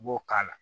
I b'o k'a la